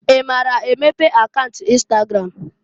I maara emepe akaunt ịnstagram?